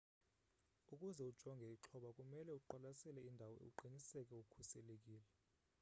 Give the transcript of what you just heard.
ukuze ujonge ixhoba kumele uqwasele indawo uqiniseke ukhuselekile